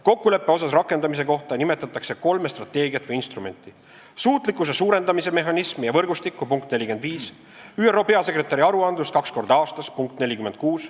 Kokkuleppe osas rakendamise kohta nimetatakse kolme strateegiat või instrumenti: suutlikkuse suurendamise mehhanismi ja võrgustikku ning ÜRO peasekretäri aruandlust kaks korda aastas .